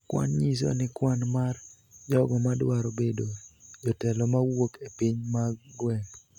Kwan nyiso ni kwan mar jogo ma dwaro bedo jotelo ma wuok e piny mag gweng',